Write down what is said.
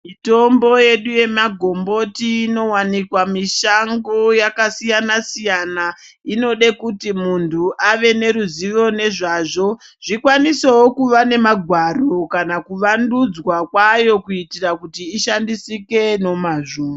Mitombo yedu yemagomboti inovanikwa mushango yakasiyana-siyana, inode kuti muntu ave neruzivo nezvazvo. Zvikwanisevo kuva nemagwaro kana kuvandudza kwayo kuitira kuti ishandisike nomazvo.